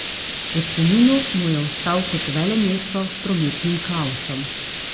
V spominu mu je ostal kot velemesto s prometnim kaosom.